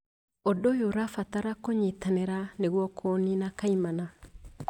Ūndũ ũyũ ũrabatara kũnyitanĩra nĩguo kũũnina kaimana